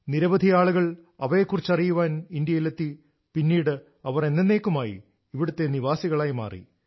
നിരവധി ആളുകൾ അവയെ കുറിച്ചറിയാൻ ഇന്ത്യയിലെത്തി പിന്നീട് അവർ എന്നെന്നേക്കുമായി ഇവിടത്തെ നിവാസികളായി മാറി